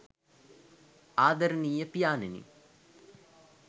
ආදරණීය පියාණෙනි